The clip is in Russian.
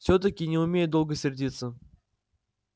всё-таки не умею долго сердиться